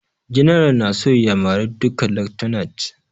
General na so ya mare duka lieutenants